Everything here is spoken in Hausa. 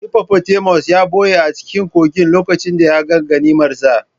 Hippopotamus ya ɓuya a cikin kogin lokacin da ya ga ganimarsa.